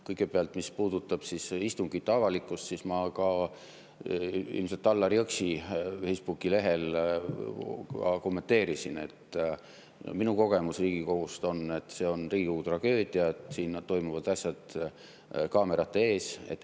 Kõigepealt, mis puudutab istungite avalikkust, siis ma ilmselt Allar Jõksi Facebooki lehel kommenteerisin, et minu kogemus Riigikogust on, et see on Riigikogu tragöödia, et siin toimuvad asjad kaamerate ees.